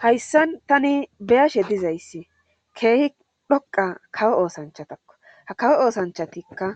Hayssan tani beyashe dizayssi keehi dhoqa kawo oosanchatakko ha kawo oosanchatikka